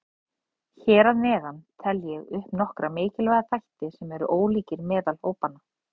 Hér að neðan tel ég upp nokkra mikilvæga þætti sem eru ólíkir meðal hópanna.